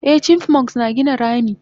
Eh chipmunks na gina rami